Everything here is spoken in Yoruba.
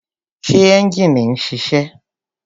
Ṣé ẹ́njìnì ń ṣiṣẹ́?